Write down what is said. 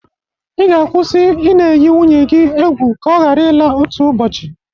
Ị ga-akwụsị ị na-eyi nwunye gi egwu ka ọ hara ịla otu ụbọchị.